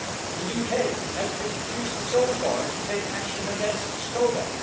The UK has refused so far to take action against Skoda.